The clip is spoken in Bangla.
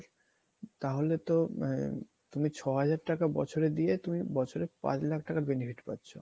তাহলেতো আ~ তুমি ছ হাজার টাকা বছরে দিলে তুমি বছরে পাঁচ লাখ টাকা benefit পাচ্ছ